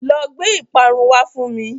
Lọ gbé ìparun wá fún mi.